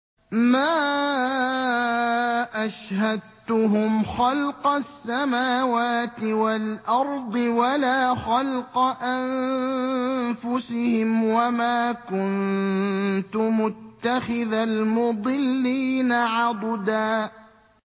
۞ مَّا أَشْهَدتُّهُمْ خَلْقَ السَّمَاوَاتِ وَالْأَرْضِ وَلَا خَلْقَ أَنفُسِهِمْ وَمَا كُنتُ مُتَّخِذَ الْمُضِلِّينَ عَضُدًا